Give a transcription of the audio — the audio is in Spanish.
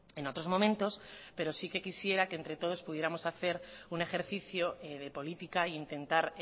en otros momentos pero sí que quisiera que entre todos pudiéramos hacer un ejercicio de política e intentar